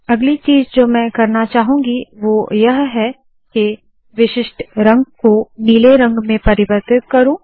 अगली चीज़ जो मैं करना चाहूंगी वोह यह है के विशिष्ट रंग को नीले रंग में परिवर्तित करू